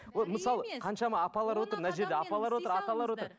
вот мысалы қаншама апалар отыр мына жерде апалар отыр аталар отыр